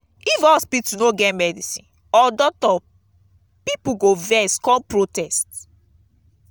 if hospital no get medicine or doctor pipo go vex come protest